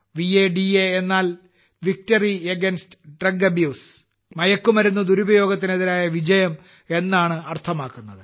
വട എന്നാൽ victory against drug abuse മയക്കുമരുന്ന് ദുരുപയോഗത്തിനെതിരായ വിജയം എന്നാണ് അർത്ഥമാക്കുന്നത്